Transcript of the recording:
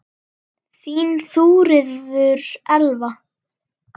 Þín Þuríður Elva.